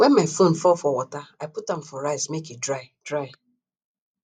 wen my phone fall for water i put am for rice make e dry dry